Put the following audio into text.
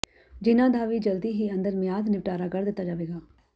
ਜਿਹਨਾਂ ਦਾ ਵੀ ਜਲਦੀ ਹੀ ਅੰਦਰ ਮਿਆਦ ਨਿਪਟਾਰਾ ਕਰ ਦਿੱਤਾ ਜਾਵੇਗਾ